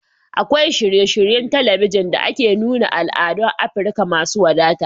Akwai shirye-shiryen talabijin da ke nuna al'adun Afirka masu wadata